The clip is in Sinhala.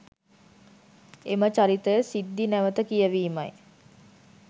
එම චරිත සිද්ධි නැවත කියවීමයි.